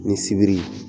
Ni sibiri